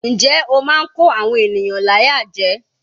Njẹ́ ó máa ń kó àwọn ènìyàn láyà jẹ.